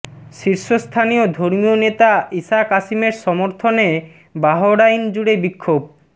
শীর্ষস্থানীয় ধর্মীয় নেতা ঈসা কাসিমের সমর্থনে বাহরাইন জুড়ে বিক্ষোভ